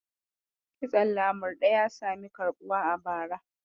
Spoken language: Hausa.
Kitson lamurɗe ya sami karɓuwa a bara.